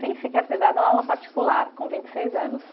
Sem sequer ter dado aula particular, com vinte e seis anos.